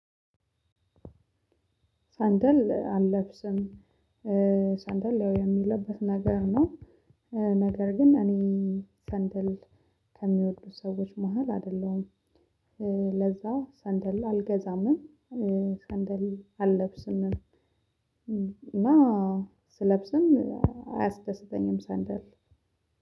ሰንደል አለብስም ሰንደል ያው የሚለበስ ነገር ነው። ነገር ግን እኔ ሰንደል ከሚወዱት ሰዎች መሃል አይደለሁም። ለዛ ሰንደል አልገዛምም። ሰንደል አለብስምም። እና ስለብስም አያስደስተኝም ሰንደል።